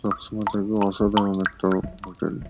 সবসময় থাকবে অসাধারণ একটা হোটেল ।